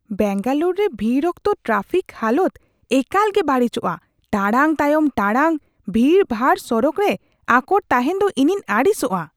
ᱵᱮᱝᱜᱟᱞᱳᱨ ᱨᱮ ᱵᱷᱤᱲ ᱚᱠᱛᱚ ᱴᱨᱟᱯᱷᱤᱠ ᱦᱟᱞᱚᱛ ᱮᱠᱟᱞ ᱜᱮ ᱵᱟᱹᱲᱤᱡᱯᱜᱼᱟ ᱾ ᱴᱟᱲᱟᱝ ᱛᱟᱭᱚᱢ ᱴᱟᱲᱟᱝ ᱵᱷᱤᱲᱼᱵᱷᱟᱲ ᱥᱚᱲᱚᱠ ᱨᱮ ᱟᱠᱚᱴ ᱛᱟᱦᱮᱱ ᱫᱚ ᱤᱧᱤᱧ ᱟᱹᱲᱤᱥᱟᱜᱼᱟ ᱾